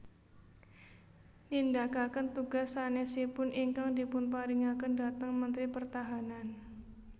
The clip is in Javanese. Nindakaken tugas sanésipun ingkang dipunparingaken dhateng Mentri Pertahanan